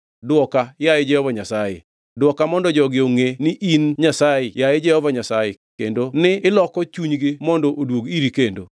Dwoka, yaye Jehova Nyasaye, dwoka mondo jogi ongʼe ni in Nyasaye, yaye Jehova Nyasaye, kendo ni iloko chunygi mondo oduog iri kendo.”